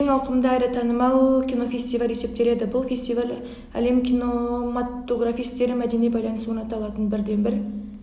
ең ауқымды әрі танымал кинофестиваль есептеледі бұл фестиваль әлем кинематографистері мәдени байланыс орната алатын бірден-бір